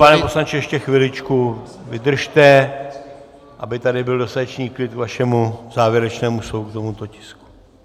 Pane poslanče, ještě chviličku vydržte, aby tady byl dostatečný klid k vašemu závěrečnému slovu k tomuto tisku.